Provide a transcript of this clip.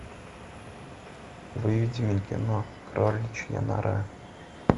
выведи мне кино кроличья нора